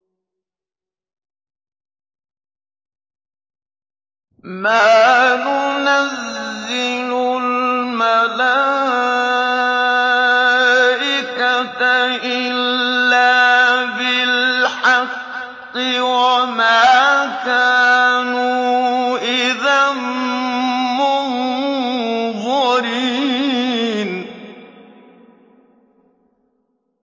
مَا نُنَزِّلُ الْمَلَائِكَةَ إِلَّا بِالْحَقِّ وَمَا كَانُوا إِذًا مُّنظَرِينَ